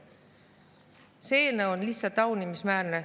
See eelnõu on lihtsalt taunimisväärne.